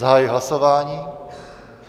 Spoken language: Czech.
Zahajuji hlasování.